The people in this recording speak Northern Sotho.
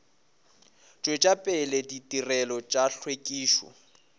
tšwetša pele ditirelo tša hlwekišo